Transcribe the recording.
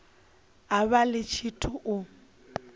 a vha ḽi tshithu u